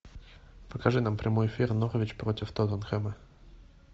покажи нам прямой эфир норвич против тоттенхэма